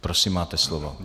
Prosím, máte slovo.